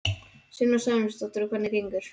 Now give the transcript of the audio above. Sunna Sæmundsdóttir: Og hvernig gengur?